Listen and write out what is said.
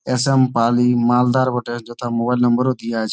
S .M পার্লি মালদার বটে যথা মোবাইল নাম্বার ও দিয়া আছ--